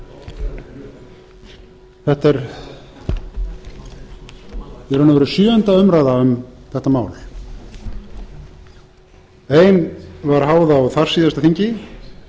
forseti þetta er í raun og veru sjöunda umræða um þetta mál ein var háð á þarsíðasta þingi